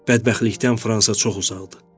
Bədbəxtlikdən Fransa çox uzaqdır.